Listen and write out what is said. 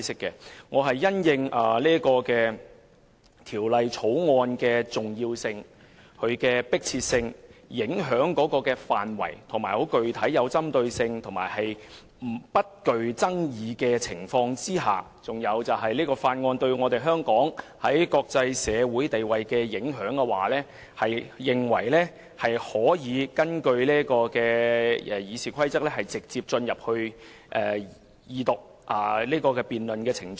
經考慮《條例草案》的重要性、迫切性、影響範圍、具針對性及不具爭議性的地方，以及對香港的國際社會地位的影響後，我根據《議事規則》，動議本會直接進入二讀辯論的程序。